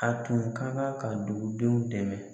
A tun ka kan ka dugudenw dɛmɛ